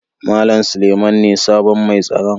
Mallam Suleiman ne sabon mai tsaron.